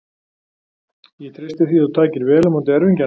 Ég treysti því að þú takir vel á móti erfingjanum.